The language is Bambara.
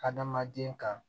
Hadamaden kan